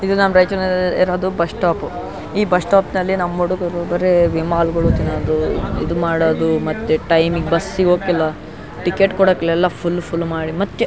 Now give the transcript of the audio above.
ಇದು ರೈಚೂರ್ ನಎಇರೊದು bus stop ಈ ಬಸ್ ಶ್ಟಾಪಿ ನಲ್ಲಿ ನಮ್ಮ್ ಹುಡುಗ್ರು ಬರೀ ವಿಮಾಲ್ಗುಳು ತಿನೋದು ಇದು ಮಾಡೋದು ಮತ್ತೆ ಟೈಮಿಗ್ ಬಸ್ ಸಿಗೊಕ್ಕಿಲ್ಲ ಟಿಕೆಟ್ ಕೊಡಕ್ಲೆಲ್ಲಾ ಫುಲ್ ಫುಲ್ ಮಾಡಿ ಮತ್ತೆ --